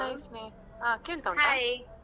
Hai Sneha ಹ ಕೇಳ್ತಾ .